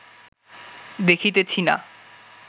দেখিতেছি না